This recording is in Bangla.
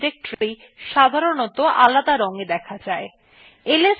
files এবং সাবডিরেক্টরি সাধারনতঃ আলাদা রংএ দেখা যায়